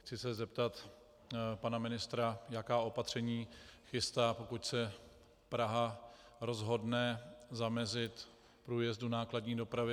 Chci se zeptat pana ministra, jaká opatření chystá, pokud se Praha rozhodne zamezit průjezdu nákladní dopravy.